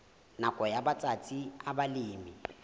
nakong ya matsatsi a balemi